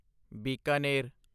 Bikaner